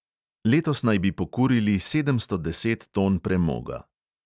Letos naj bi pokurili sedemsto deset ton premoga.